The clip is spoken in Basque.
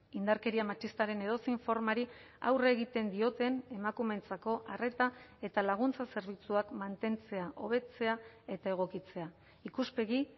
indarkeria matxistaren edozein formari aurre egiten dioten emakumeentzako arreta eta laguntza zerbitzuak mantentzea hobetzea eta egokitzea ikuspegi